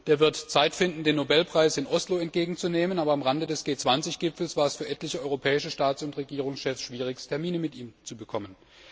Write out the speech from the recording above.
Der wird Zeit finden, den Nobelpreis in Oslo entgegenzunehmen, aber am Rande des G 20 Gipfels war es für etliche europäische Staats und Regierungschefs schwierig, Termine bei ihm zu bekommen.